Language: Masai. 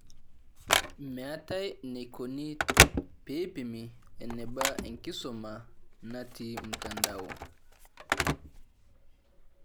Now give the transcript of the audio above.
Meetae enaikoni peeipimi eneba enkisuma natii mtandao